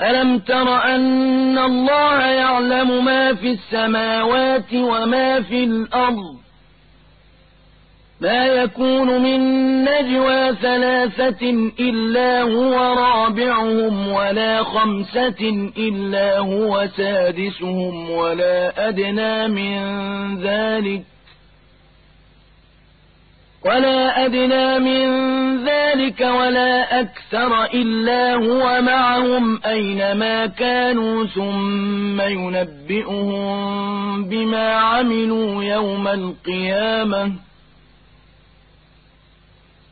أَلَمْ تَرَ أَنَّ اللَّهَ يَعْلَمُ مَا فِي السَّمَاوَاتِ وَمَا فِي الْأَرْضِ ۖ مَا يَكُونُ مِن نَّجْوَىٰ ثَلَاثَةٍ إِلَّا هُوَ رَابِعُهُمْ وَلَا خَمْسَةٍ إِلَّا هُوَ سَادِسُهُمْ وَلَا أَدْنَىٰ مِن ذَٰلِكَ وَلَا أَكْثَرَ إِلَّا هُوَ مَعَهُمْ أَيْنَ مَا كَانُوا ۖ ثُمَّ يُنَبِّئُهُم بِمَا عَمِلُوا يَوْمَ الْقِيَامَةِ ۚ